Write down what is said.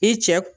I cɛ